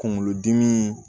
Kungolo dimi